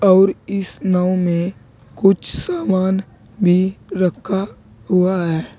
और इस नाव में कुछ सामान भी हुआ है।